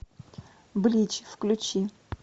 блич включи